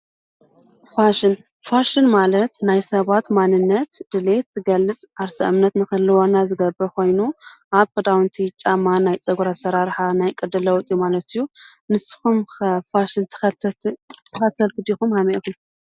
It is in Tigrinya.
ፋሽን ፋሽን ማለት ናይ ሰባት መንነት ድሌት ዝገልጽ ዓርሰ እምነት ንክህልወና ዝገብር ኮይኑ ኣብ ክዳዉንቲ ጫማ፣ ናይ ፀጉሪ ኣሰራርሓ፣ ናይ ቅዲ ለዉጢ ማለት እዩ ። ንስኹም ከ ፋሽን ተኸተልቲ ዲኹም ከመይ ኢኹም?